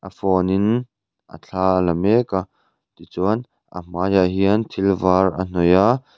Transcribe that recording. a phone in a thla ala mek a ti chuan a hmai ah hian thil var a hnawih a.